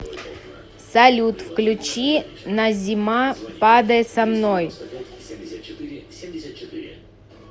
салют включи назима падай со мной